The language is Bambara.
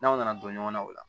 N'aw nana don ɲɔgɔnna o la